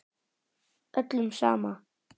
Öllum sama.